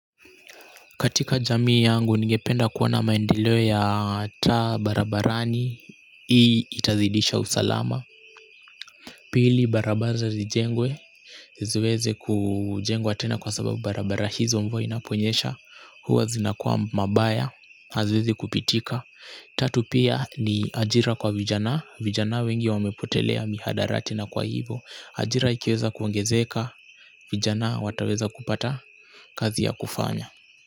Katika jamii yangu ningependa kuwa na maendeleo ya taa barabarani, hii itazidisha usalama. Pili, barabara zijengwe. Ziziweze kujengwa tena kwa sababu barabara hizo mvua inaponyesha. Huwa zinakua mbaya, haziwezi kupitika. Tatu pia ni ajira kwa vijana. Vijana wengi wamepotelea miandarati na kwa hivo, ajira ikiweza kuangezeka. Vijana wataweza kupata kazi ya kufanya.